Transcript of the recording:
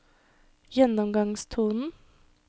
gjennomgangstonen